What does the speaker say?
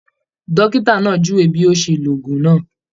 Dókítà náà júwe bí yóò ṣe ló òògùn náà